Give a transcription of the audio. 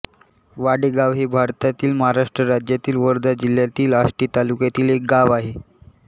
वाडेगाव हे भारतातील महाराष्ट्र राज्यातील वर्धा जिल्ह्यातील आष्टी तालुक्यातील एक गाव आहे